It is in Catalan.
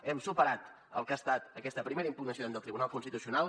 hem superat el que ha estat aquesta primera impugnació davant del tribunal constitucional